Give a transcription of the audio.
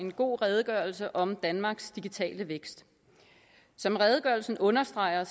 en god redegørelse om danmarks digitale vækst som redegørelsen understreger